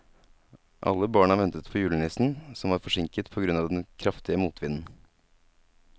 Alle barna ventet på julenissen, som var forsinket på grunn av den kraftige motvinden.